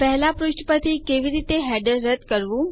પહેલા પુષ્ઠ પરથી કેવી રીતે હેડરો રદ્દ કરવા